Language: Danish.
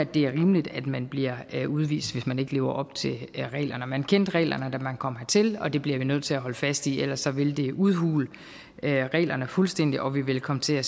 det er rimeligt at man bliver udvist hvis man ikke lever op til reglerne man kendte reglerne da man kom hertil det bliver vi nødt til at holde fast i for ellers ville det udhule reglerne fuldstændig og vi ville komme til at